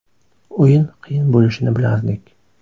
O‘yin qiyin bo‘lishini bilardik.